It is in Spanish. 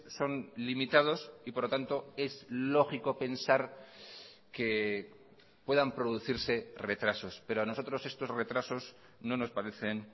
son limitados y por lo tanto es lógico pensar que puedan producirse retrasos pero a nosotros estos retrasos no nos parecen